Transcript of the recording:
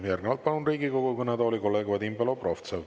Järgnevalt palun Riigikogu kõnetooli kolleeg Vadim Belobrovtsevi.